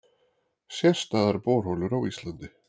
Sérstæðar borholur á Íslandi